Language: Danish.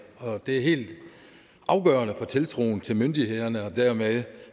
og det er helt afgørende for tiltroen til myndighederne og dermed